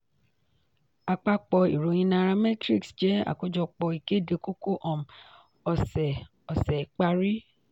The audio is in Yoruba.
àpapọ̀ ìròyìn nairametrics jẹ́ àkójọpọ̀ ìkéde kókó um ọ̀sẹ̀ ọ̀sẹ̀ ìparí.